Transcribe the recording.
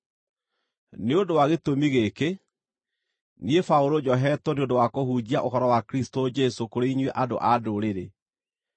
Nĩ ũndũ wa gĩtũmi gĩkĩ, niĩ Paũlũ, njohetwo nĩ ũndũ wa kũhunjia ũhoro wa Kristũ Jesũ kũrĩ inyuĩ andũ-a-Ndũrĩrĩ: